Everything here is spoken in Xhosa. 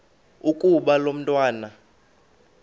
ukuba lo mntwana